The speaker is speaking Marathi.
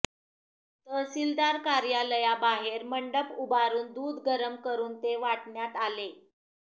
तहसील कार्यालयाबाहेर मंडप उभारून दूध गरम करून ते वाटण्यात आले